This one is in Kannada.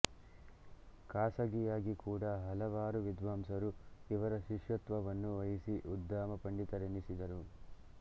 ಖಾಸಗಿಯಾಗಿ ಕೂಡ ಹಲವಾರು ವಿದ್ವಾಂಸರು ಇವರ ಶಿಷ್ಯತ್ವವನ್ನು ವಹಿಸಿ ಉದ್ದಾಮ ಪಂಡಿತರೆನಿಸಿದರು